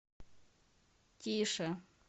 тише